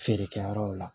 Feere kɛ yɔrɔw la